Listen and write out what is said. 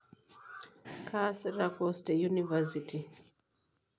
Kaaasita course te University.